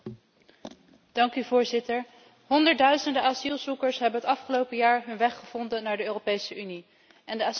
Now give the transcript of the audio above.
Honderdduizenden asielzoekers hebben het afgelopen jaar hun weg gevonden naar de Europese Unie en de asieltsunami overspoelt ook mijn land.